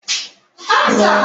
Ngwaagha ha ka ndị omekome zuru